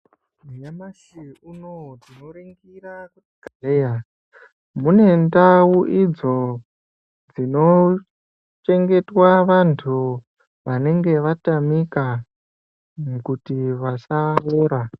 Nyamashi unowu tinoringira kuti muzvibhedhleya mune ndau udzo dzinochengetwa vantu vanenge vatamika kuti vasaora.